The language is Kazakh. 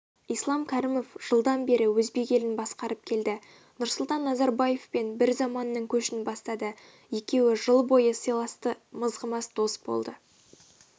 ислам кәрімов жылдан бері өзбек елін басқарып келді нұрсұлтан назарбаевпен бір заманның көшін бастады екеуі жыл бойы сыйласты мызғымас дос болды